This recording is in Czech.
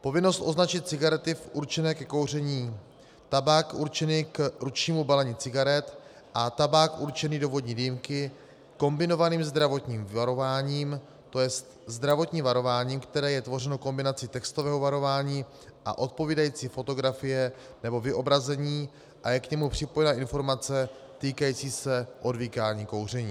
Povinnost označit cigarety určené ke kouření, tabák určený k ručnímu balení cigaret a tabák určený do vodní dýmky kombinovaným zdravotním varováním, to je zdravotní varování, které je tvořeno kombinací textového varování a odpovídající fotografie nebo vyobrazení, a je k němu připojena informace týkající se odvykání kouření.